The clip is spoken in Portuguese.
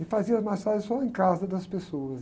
E fazia as massagens só em casa das pessoas.